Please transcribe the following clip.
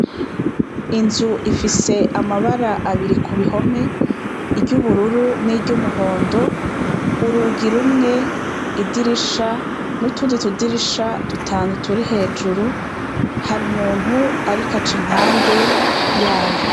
Inzu ifise amabara abiri ku bihome, iryo ubururu n'iryo umuhondo, urugi rumwe, idirisha, n'utundi tudirisha dutanu turi hejuru. Hari umuntu ariko aca impande yayo.